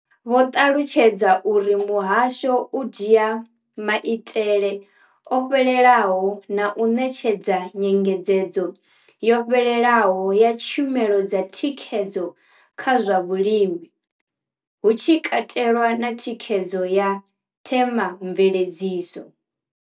Vho ṱalutshedza uri muhasho u dzhia maitele o fhelelaho na u ṋetshedza nyengedzedzo yo fhelelaho ya tshumelo dza thikhedzo kha zwa vhulimi, hu tshi katelwa na thikhedzo ya themamveledziso.